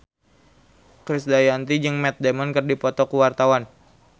Krisdayanti jeung Matt Damon keur dipoto ku wartawan